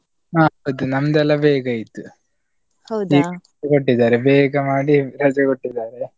ಹೌದು ನಮ್ಮದೆಲ್ಲ ಬೇಗ ಆಯ್ತು ಕೊಟ್ಟಿದ್ದಾರೆ ಬೇಗ ಮಾಡಿ ರಜೆ ಕೊಟ್ಟಿದ್ದಾರೆ.